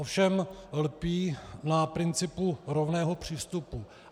Ovšem lpí na principu rovného přístupu.